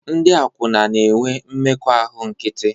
Ndị akwụna na-enwe mmekọahụ nkịtị